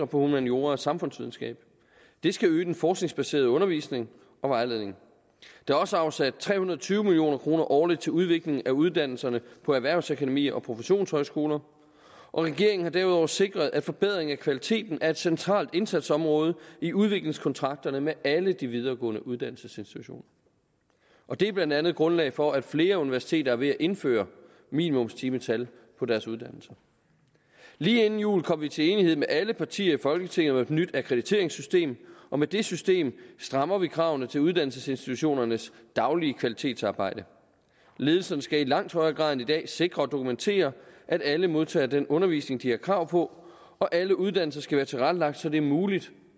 på humaniora og samfundsvidenskab det skal øge den forskningsbaserede undervisning og vejledning der er også afsat tre hundrede og tyve million kroner årligt til udvikling af uddannelserne på erhvervsakademier og professionshøjskoler regeringen har derudover sikret at forbedring af kvaliteten er et centralt indsatsområde i udviklingskontrakterne med alle de videregående uddannelsesinstitutioner det er blandt andet grundlag for at flere universiteter er ved at indføre minimumstimetal på deres uddannelser lige inden jul kom vi til enighed med alle partier i folketinget om et nyt akkrediteringssystem og med det system strammer vi kravene til uddannelsesinstitutionernes daglige kvalitetsarbejde ledelserne skal i langt højere grad end i dag sikre og dokumentere at alle modtager den undervisning de har krav på og alle uddannelser skal være tilrettelagt så det er muligt